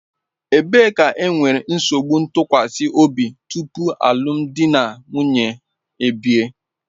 Ebee ka enwere nsogbu ntụkwasị obi tupu alụmdi na nwunye ebie?